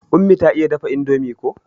Ummi ta iya dafa indomie ko.